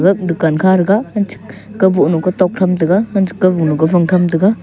dukan kha thraga angchik kabohnu kotok tham taiga angchik kobohnu kofang tham taiga.